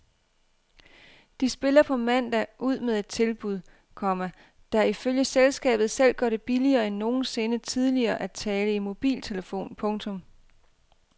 De spiller på mandag ud med et tilbud, komma der ifølge selskabet selv gør det billigere end nogensinde tidligere at tale i mobiltelefon. punktum